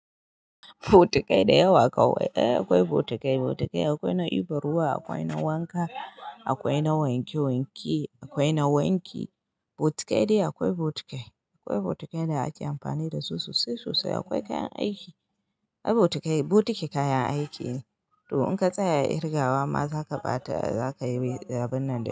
Botikai da yawa kawai, ai akwai botikai, botikai akwai na ibar ruwa, akwai na wanka, akwai na wanke wanke, akwai na wanki. Botikai dai akwai botikai. Akwai botikai da ake amfani da su sosai sosai. Akwai kayan aiki. Ai botikai, botiki kayan aiki ne. To in ka tsaya a Irgawa ma, za ka ɓata, za ka yi abinnan da,